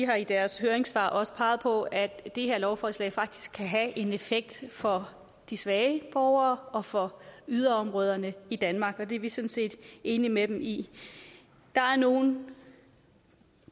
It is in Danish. har i deres høringssvar også peget på at det her lovforslag faktisk kan have en effekt for de svage borgere og for yderområderne i danmark og det er vi sådan set enige med dem i der er nogle